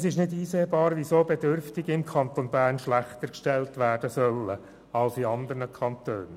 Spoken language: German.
Es ist nicht einsehbar, weshalb Bedürftige im Kanton Bern schlechter gestellt werden sollen als in andern Kantonen.